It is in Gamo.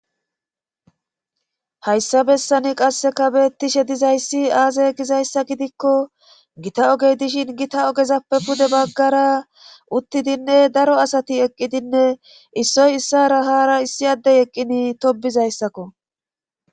hayssa bessani qasseka bettishe dizayssi aze gizayssa gidikko gita ogey dishin gita ogezappe pude baggara uttidinne daro asati eqqidinne issoy issara hara issi addey eqqini tobizayssakko